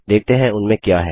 देखते हैं उनमें क्या है